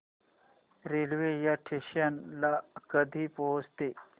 railway या station ला कधी पोहचते